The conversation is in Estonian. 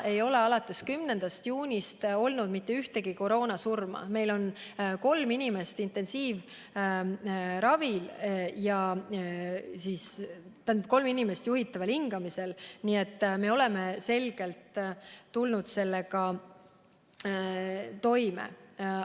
Alates 10. juunist ei ole olnud mitte ühtegi koroonasurma ja meil on vaid kolm inimest juhitaval hingamisel, nii et me oleme selgelt sellega toime tulnud.